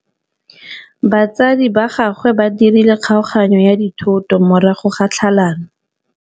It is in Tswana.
Batsadi ba gagwe ba dirile kgaoganyô ya dithoto morago ga tlhalanô.